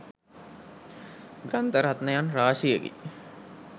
ග්‍රන්ථ රත්නයන් රාශියකි.